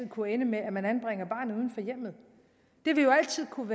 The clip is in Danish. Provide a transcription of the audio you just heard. kunne ende med at man anbringer barnet uden for hjemmet det vil jo altid kunne